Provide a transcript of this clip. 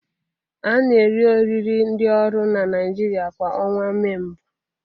A na eri oriri ndị ọrụ n'Naijiria kwa ọnwa Mee mbụ